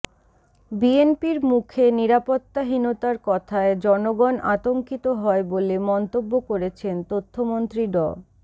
বিএনপির মুখে নিরাপত্তাহীনতার কথায় জনগণ আতঙ্কিত হয় বলে মন্তব্য করেছেন তথ্যমন্ত্রী ড